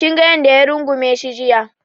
Kinga yanda ya rungume shi jiya